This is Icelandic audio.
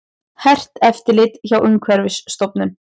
Hert eftirlit hjá Umhverfisstofnun